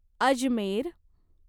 Ajmer